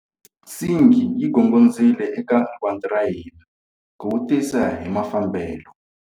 Nsingi yi gongondzile eka rivanti ra hina ku vutisa hi mafambelo.